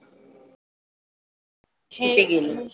तिथे गेलेत.